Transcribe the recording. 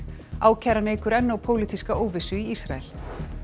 ákæran eykur enn á pólitíska óvissu í Ísrael